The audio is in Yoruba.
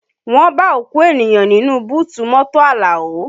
Wọ́n bá òkú ènìyàn nínú búùtù mọ́tò Alao